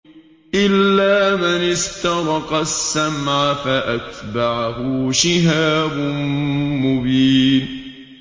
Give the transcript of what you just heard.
إِلَّا مَنِ اسْتَرَقَ السَّمْعَ فَأَتْبَعَهُ شِهَابٌ مُّبِينٌ